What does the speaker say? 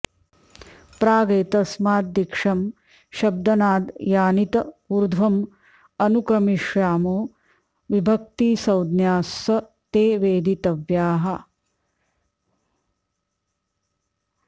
प्रागेतस्माद् दिक्षं शब्दनाद् यानित ऊर्ध्वम् अनुक्रमिष्यामो विभक्तिसंज्ञास् ते वेदितव्याः